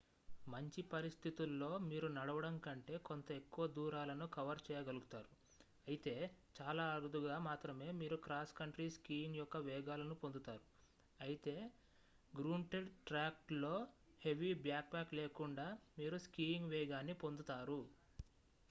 మంచి పరిస్థితుల్లో మీరు నడవడం కంటే కొంత ఎక్కువ దూరాలను కవర్ చేయగలుగుతారు అయితే చాలా అరుదుగా మాత్రమే మీరు క్రాస్ కంట్రీ స్కీయింగ్ యొక్క వేగాలను పొందుతారు అయితే గ్రూంటెడ్ ట్రాక్ ల్లో హెవీ బ్యాక్ ప్యాక్ లేకుండా మీరు స్కీయింగ్ వేగాన్ని పొందుతారు